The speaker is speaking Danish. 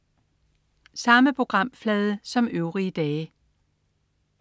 Samme programflade som øvrige dage